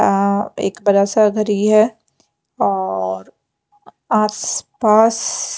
अ एक बड़ा सा घर ही है औऔर आससस पाससस --